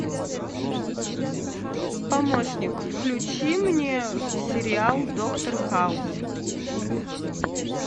помощник включи мне сериал доктор хаус